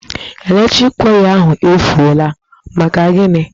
Eletriki waya ahụ efuọla, maka gini?